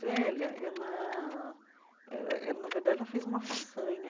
velha, ela eh ela na verdade, ela fez uma façanha.